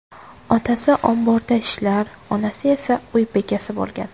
Otasi omborda ishlar, onasi esa uy bekasi bo‘lgan.